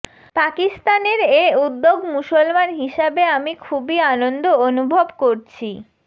পাকিস্তানের এ উদ্যোগ মুসলমান হিসাবে আমি খুবই আনন্দ আনুভব করছি